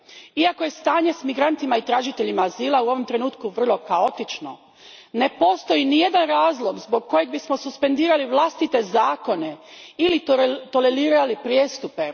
Iako je stanje s migrantima i tražiteljima azila u ovom trenutku vrlo kaotično, ne postoji nijedan razlog zbog kojeg bismo suspendirali vlastite zakone ili tolerirali prijestupe.